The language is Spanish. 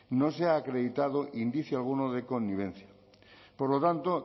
no se ha acreditado indicio alguno de connivencia por lo tanto